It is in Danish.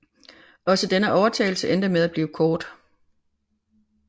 Også denne overtagelse endte med at blive kort